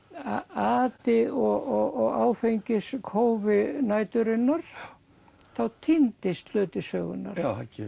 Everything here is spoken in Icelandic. ati og áfengiskófi næturinnar þá týndist hluti sögunnar